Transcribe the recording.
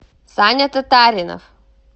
саня татаринов